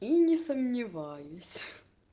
и не сомневаюсь